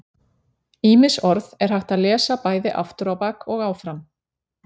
Ýmis orð er hægt að lesa bæði aftur á bak og áfram.